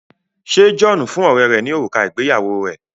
ṣe John fún ọrẹ rè ní òrùka ìgbéyàwó rẹ?